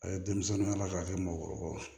A ye denmisɛnninw yala k'a kɛ mɔgɔkɔrɔbaw ye